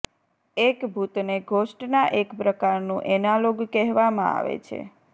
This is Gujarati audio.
એક ભૂતને ઘોસ્ટના એક પ્રકારનું એનાલોગ કહેવામાં આવે છે